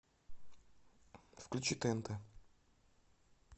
включи тнт